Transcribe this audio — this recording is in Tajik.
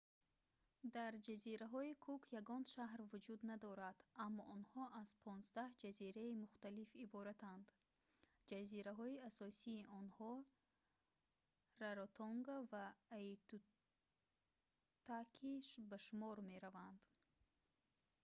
дар ҷазираҳои кук ягон шаҳр вуҷуд надорад аммо онҳо аз 15 ҷазираи мухталиф иборатанд ҷазираҳои асосии онҳо раротонга ва аитутаки ба шумор мераванд